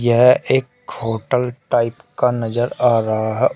यह एक hotel type का नजर आ रहा है।